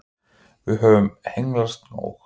Við höfum hengslast nóg.